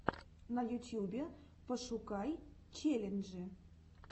на ютьюбе пошукай челленджи